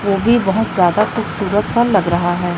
वो भी बहोत ज्यादा खूबसूरत सा लग रहा है।